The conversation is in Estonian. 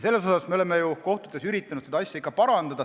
Me oleme üritanud kohtutes seda asja parandada.